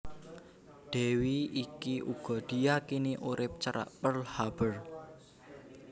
Dèwi iki uga diyakini urip cerak Pearl Harbor